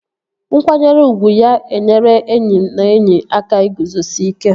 Nkwanyere ugwu ga-enyere enyi na enyi aka iguzosi ike